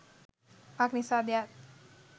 මක්නිසාද යත්,